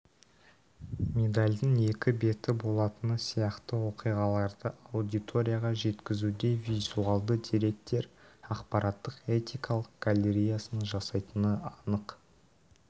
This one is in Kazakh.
медальдің екі беті болатыны сияқты оқиғаларды аудиторияға жеткізуде визуалды деректер ақпараттық этикалық галереясын жасайтыны анық